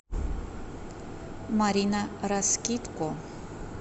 марина раскидко